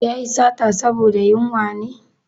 Ya yi sata saboda yunwa ne?